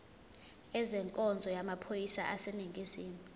ezenkonzo yamaphoyisa aseningizimu